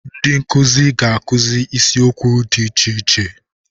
Ndị nkuzi ga-akụzi isiokwu dị iche iche.